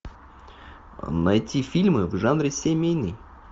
найти фильмы в жанре семейный